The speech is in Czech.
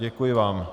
Děkuji vám.